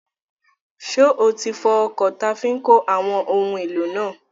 Ṣé o ti fọ ọkọ̀ táa fi n kó àwọn ohun èlò náà?